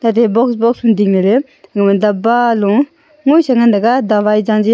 aate box box dingle le dabba lo nguisa ngantaga dawai jaji aa.